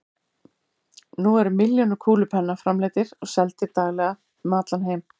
Nú eru milljónir kúlupenna framleiddir og seldir daglega um allan heim.